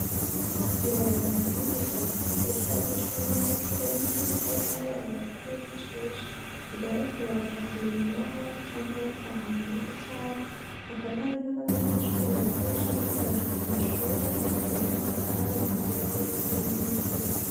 Ibarabara rinini ryagutse rishobora gucamwo imiduga irenze imwe ariko n'Abantu bakahifashisha mugihe bariko baraja mumirimo yabo canke mungo zabo Hakaba hari n'abanyeshure barikoresha bariko baraja k'umashure ariko k'uruhande Hakaba hari umurima w'ibigori n'imikubi.